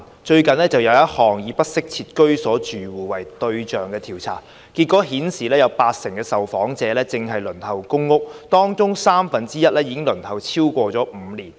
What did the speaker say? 最近一項以不適切居所住戶為對象的調查的結果顯示，八成受訪者正輪候公屋，而當中三分一已輪候超過5年。